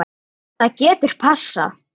Það getur passað.